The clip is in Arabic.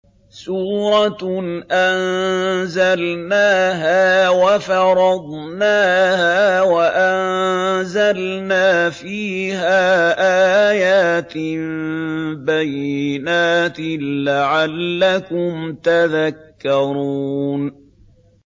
سُورَةٌ أَنزَلْنَاهَا وَفَرَضْنَاهَا وَأَنزَلْنَا فِيهَا آيَاتٍ بَيِّنَاتٍ لَّعَلَّكُمْ تَذَكَّرُونَ